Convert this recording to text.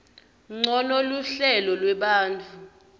ncono luhlelo lwetfu